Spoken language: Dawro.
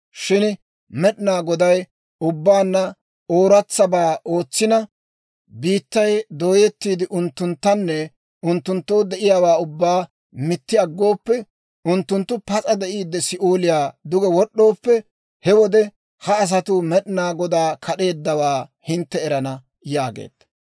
Shin Med'inaa Goday ubbaanna ooratsabaa ootsina, biittay dooyettiide unttunttanne unttunttoo de'iyaawaa ubbaa mitti aggooppe, unttunttu pas'a de'iidde Si'ooliyaa duge wod'ooppe, he wode ha asatuu Med'inaa Godaa kad'eeddawaa hintte erana» yaageedda.